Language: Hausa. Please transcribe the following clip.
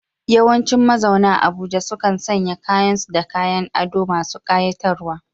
Yawancin mazauna Abuja sukan sanya kayan su da kayan ado masu ƙayatarwa.